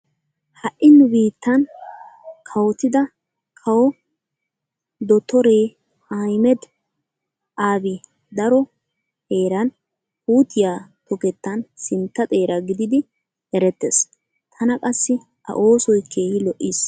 Ha"i nu biittan kawotida kawo dottore Ahimeda Abi daro heeran puutiya tokettan sintta xeera gididi erettees. Tana qassi a oosoy keehi lo'iis.